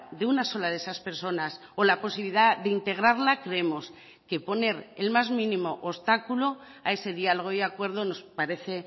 de una sola de esas personas o la posibilidad de integrarla creemos que poner el más mínimo obstáculo a ese diálogo y acuerdo nos parece